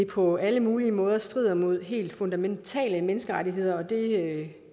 på alle mulige måder strider mod helt fundamentale menneskerettigheder og det